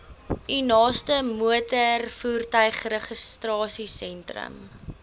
u naaste motorvoertuigregistrasiesentrum